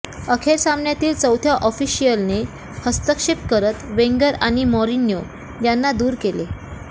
अखेर सामन्यातील चौथ्या ऑफिशियलने हस्तक्षेप करत वेंगर आणि मॉरिन्यो यांना दूर केले